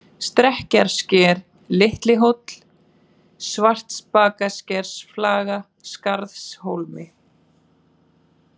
Stekkjarsker, Litlihóll, Svartbakaskersflaga, Skarðshólmi